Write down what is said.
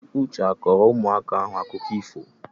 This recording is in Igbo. Uche a kọọrọ ụmụaka ahụ akụkọ ifo?